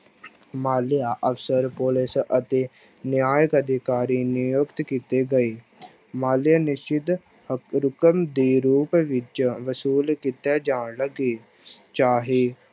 ਮਾਲਿਆ ਅਫ਼ਸਰ ਪੁਲਿਸ ਅਤੇ ਨਿਆਂਇਕ ਅਧਿਕਾਰੀ ਨਿਯੁਕਤ ਕੀਤੇ ਗਏ ਮਾਲਿਆ ਨਿਸ਼ਚਿਤ ਰਕਮ ਦੇ ਰੂਪ ਵਿੱਚ ਵਸੂਲ ਕੀਤਾ ਜਾਣ ਲੱਗੇ ਚਾਹੇ